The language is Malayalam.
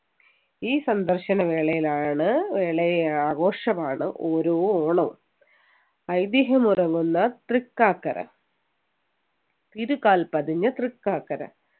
ഒരു സന്ദർശന വേളയിലാണ് വേളയെ ആഘോഷമാണ് ഓരോ ഓണവും ഐതിഹ്യം ഉറങ്ങുന്ന തൃക്കാക്കര തിരുകാൽ പതിഞ്ഞ തൃക്കാക്കര